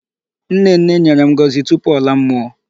Nnenne nyèrè ngọzi tupu ọla mmụọ.